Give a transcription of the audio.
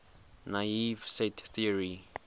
naive set theory